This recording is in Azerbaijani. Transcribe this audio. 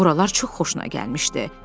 Buralar çox xoşuna gəlmişdi.